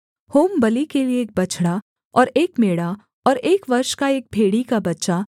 होमबलि के लिये एक बछड़ा और एक मेढ़ा और एक वर्ष का एक भेड़ी का बच्चा